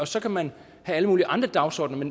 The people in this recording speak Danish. så kan man have alle mulige andre dagsordener det